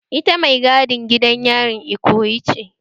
Ita mai gadin gidan yarin Ikoyi ce